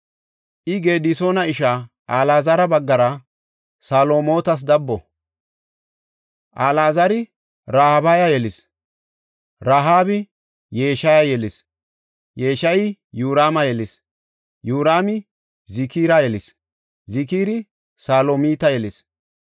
I Gedisoona ishaa Alaazara baggara Salomootas dabbo. Al77azari Rahaabiya yelis; Rahaabi Yeshaya yelis; Yeshayi Yoraama yelis; Yoraami Zikira yelis; Zikiri Salomita yelis.